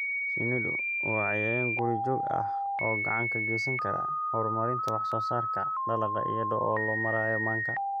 Shinnidu waa cayayaan guri-joog ah oo gacan ka geysan kara horumarinta wax-soo-saarka dalagga iyada oo loo marayo manka.